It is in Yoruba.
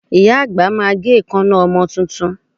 Ìyá àgbà máa gé èékánná ọmọ tuntun